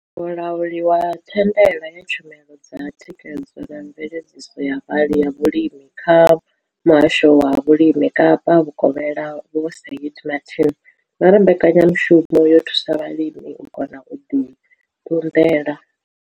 Mulauli wa thandela ya tshumelo dza thikhedzo na mveledziso ya vha ya vhulimi kha Muhasho wa Vhulimi Kapa Vhukovhela Vho Shaheed Martin vha ri mbekanya mushumo yo thusa vhalimi u kona u ḓi ṱunḓela.